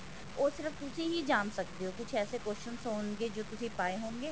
ਉਹ ਸਿਰਫ਼ ਤੁਸੀਂ ਹੀ ਜਾਣ ਸੱਕਦੇ ਹੋ ਕੁੱਛ ਐਸੇ questions ਹੋਣਗੇ ਜੋ ਤੁਸੀਂ ਪਾਏ ਹੋਣਗੇ